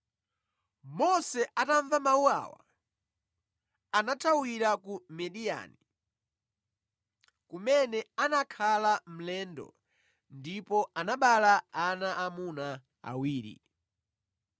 Mose atamva mawu awa anathawira ku Midiyani, kumene anakhala mlendo ndipo anabereka ana amuna awiri.